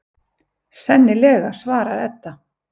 Sennilega, svarar Edda.